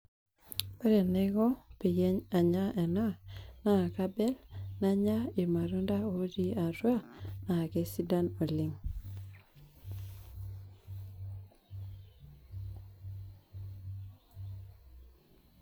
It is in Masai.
Ore enaiko peyie anya ena, na kabel nanya irmatunda otii atua, na kesidan oleng'.